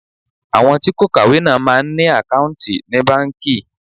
Àwọn tí kò kàwé náà máa ń ní àkáùntì ní báńkì.